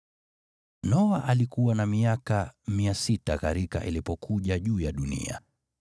Noa alikuwa na miaka 600 gharika ilipokuja juu ya dunia.